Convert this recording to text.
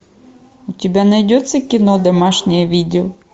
у тебя найдется кино домашнее видео